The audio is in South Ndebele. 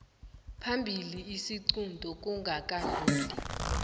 phambili isiqunto kungakadluli